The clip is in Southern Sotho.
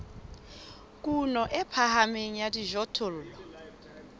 kuno e phahameng ya dijothollo